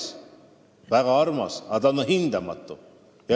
See on väga kallis, aga samas ka hindamatu.